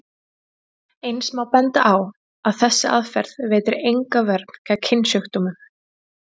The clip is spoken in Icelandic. Eins má benda á að þessi aðferð veitir enga vörn gegn kynsjúkdómum.